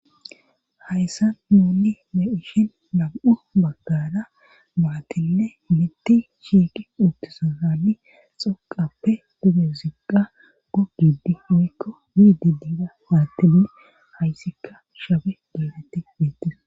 hayssan nun beyishin lam7u baggada maatille mitti shiiqi uuttisa hani xoqappe dugeziqa gugidi ikko diidi diira baattine hayssikka shabe geedetti beettes